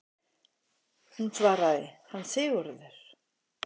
Hún svaraði: Hann Sigurður!